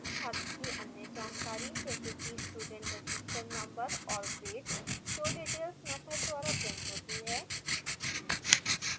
छात्र की अन्य जानकारी जैसे कि student register number और grade showdetails मैथड द्वारा printed होती हैं